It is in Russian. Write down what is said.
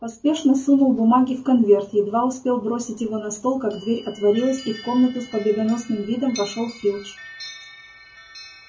поспешно сунул бумаги в конверт едва успел бросить его на стол как дверь отворилась и в комнату с победоносным видом вошёл филч